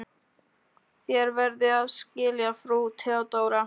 Þér verðið að skilja, frú Theodóra.